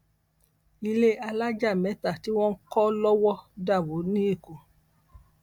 ilé alájà mẹta tí wọn ń kọ lowó dà wó lẹkọọ